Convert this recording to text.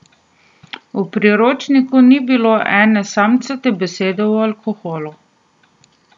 V Priročniku ni bilo ene samcate besede o alkoholu.